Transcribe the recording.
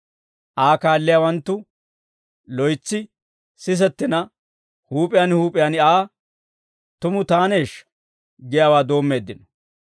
Aa kaalliyaawanttu loytsi sisettina, huup'iyaan huup'iyaan Aa, «Tumu taaneeshsha?» giyaawaa doommeeddino.